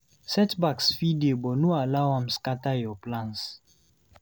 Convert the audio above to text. Setbacks fit dey but no allow am scatter your plans